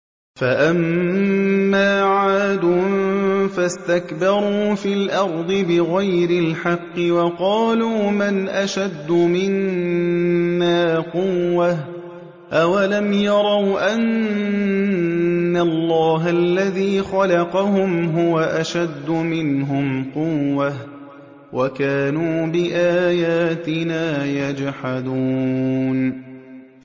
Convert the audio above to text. فَأَمَّا عَادٌ فَاسْتَكْبَرُوا فِي الْأَرْضِ بِغَيْرِ الْحَقِّ وَقَالُوا مَنْ أَشَدُّ مِنَّا قُوَّةً ۖ أَوَلَمْ يَرَوْا أَنَّ اللَّهَ الَّذِي خَلَقَهُمْ هُوَ أَشَدُّ مِنْهُمْ قُوَّةً ۖ وَكَانُوا بِآيَاتِنَا يَجْحَدُونَ